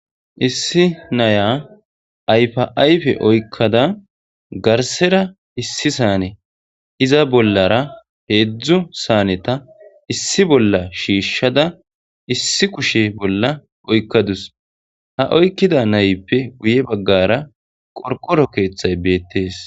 issi naya ayfa ayfe oykkada garsera issi saane iza bollara heedzdzu saaneta issi bolla shiishshada issi kushe bolla oykkadus ha oykkida nayppe guye baggara qorqoro keeththay beettees